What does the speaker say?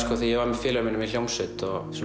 þegar ég var með félögum mínum í hljómsveit